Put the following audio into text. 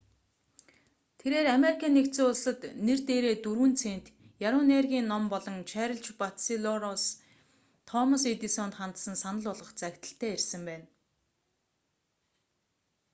тэрээр ану-д нэр дээрээ 4 цент яруу найргийн ном болон чарльз батчелороос өмнөх ажлынх нь менежер томас эдисонд хандсан санал болгох захидалтай ирсэн байна